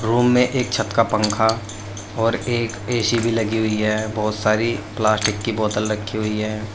Room में एक छत का पंखा और एक ए_सी भी लगी हुई है बहुत सारी प्लास्टिक की बोतल रखी हुई है।